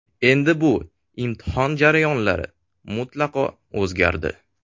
Endi bu imtihon jarayonlari mutlaqo o‘zgardi.